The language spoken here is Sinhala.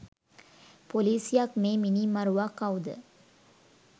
පොලිසියක් මේ මිනී මරුවා කවුද